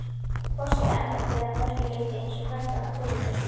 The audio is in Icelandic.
Forsetaembættið er að mörgu leyti eins og hvert annað fyrirtæki.